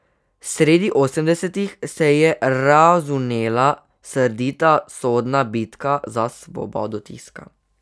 Sredi osemdesetih se je razvnela srdita sodna bitka za svobodo tiska.